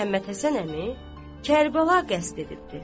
Çoxdandır Məhəmməd Həsən əmi Kərbəla qəsd edibdir.